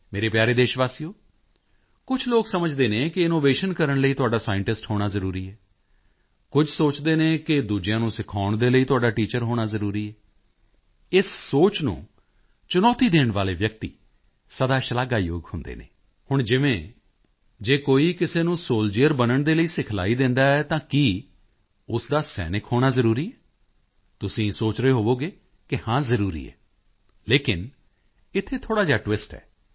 ਮੇਰੇ ਪਿਆਰੇ ਦੇਸ਼ਵਾਸੀਓ ਕੁਝ ਲੋਕ ਸਮਝਦੇ ਹਨ ਕਿ ਇਨੋਵੇਸ਼ਨ ਕਰਨ ਲਈ ਤੁਹਾਡਾ ਸਾਇੰਟਿਸਟ ਹੋਣਾ ਜ਼ਰੂਰੀ ਹੈ ਕੁਝ ਸੋਚਦੇ ਹਨ ਕਿ ਦੂਜਿਆਂ ਨੂੰ ਕੁਝ ਸਿਖਾਉਣ ਦੇ ਲਈ ਤੁਹਾਡਾ ਟੀਚਰ ਹੋਣਾ ਜ਼ਰੂਰੀ ਹੈ ਇਸ ਸੋਚ ਨੂੰ ਚੁਣੌਤੀ ਦੇਣ ਵਾਲੇ ਵਿਅਕਤੀ ਸਦਾ ਸ਼ਲਾਘਾਯੋਗ ਹੁੰਦੇ ਹਨ ਹੁਣ ਜਿਵੇਂ ਜੇ ਕੋਈ ਕਿਸੇ ਨੂੰ ਸੋਲਡੀਅਰ ਬਣਨ ਦੇ ਲਈ ਸਿਖਲਾਈ ਦਿੰਦਾ ਹੈ ਤਾਂ ਕੀ ਉਸ ਦਾ ਸੈਨਿਕ ਹੋਣਾ ਜ਼ਰੂਰੀ ਹੈ ਤੁਸੀਂ ਸੋਚ ਰਹੇ ਹੋਵੋਗੇ ਕਿ ਹਾਂ ਜ਼ਰੂਰੀ ਹੈ ਲੇਕਿਨ ਇੱਥੇ ਥੋੜ੍ਹਾ ਜਿਹਾ ਟਵਿਸਟ ਹੈ